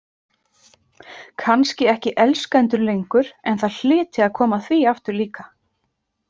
Kannski ekki elskendur lengur, en það hlyti að koma að því aftur líka.